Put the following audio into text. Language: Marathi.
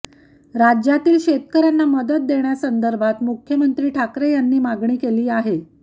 राज्यातील शेतकऱ्यांना मदत देण्यासंदर्भात मुख्यमंत्री ठाकरे यांनी मागणी केली आहे